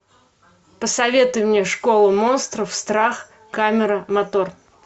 посоветуй мне школу монстров страх камера мотор